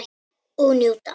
Og njóta.